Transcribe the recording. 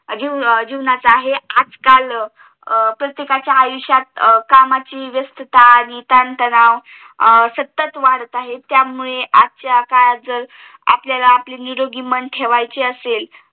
अजून च आहे आजकाल प्रत्येकाच्या आयुष्यात कामाची व्यस्थता आणि ताण तणाव सतत वाढत आहे त्यामुळे आजकालच्या काळात जर आपल्याला निरोगी मन ठेवायचे असेल